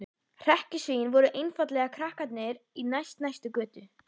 Hrekkjusvín voru einfaldlega krakkarnir í næst næstu götu.